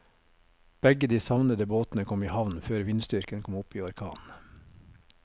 Begge de savnede båtene kom i havn før vindstyrken kom opp i orkan.